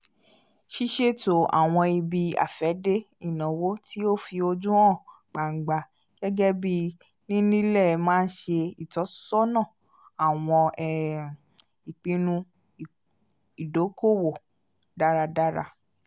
ṣiṣeto awọn ibi-afẹde ìnáwó ti o fi ojú hàn gbangba gẹgẹbi nini ilé má nṣe ìtọ́sọ́nà awọn um ìpinnu ìdòko-òwò dáradára